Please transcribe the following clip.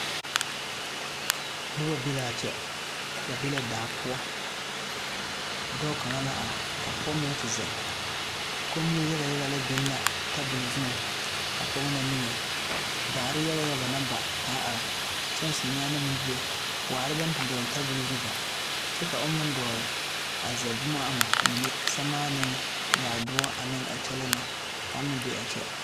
Noba be la a kyɛ ba be la daa poɔ dɔɔ kaŋa la are ka pɔgɔ meŋ te ziŋ, komie yaga yaga biŋ la tabol zuŋ a pɔge na niŋe daare yaga yaga la ba ka a are kyɛŋsi meŋ bebe waare la baŋ te dɔgli tabol zuŋ kyɛ a o meŋ dɔgli zeɛɛre ama mine sɛremaanee nyaadoɔ ane a kyɛlee. na.